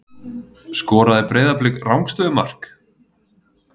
Skoraði Breiðablik rangstöðumark?